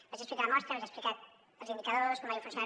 vaig explicar la mostra vaig explicar els indicadors com havia funcionat